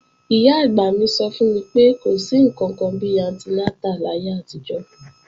Ìyá-àgbà mi sọ fún mi pé, kò sí ǹkankan bi antinátà láyé àtijọ́